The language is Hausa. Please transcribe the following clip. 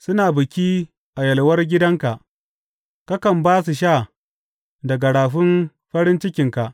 Suna biki a yalwar gidanka; kakan ba su sha daga rafin farin cikinka.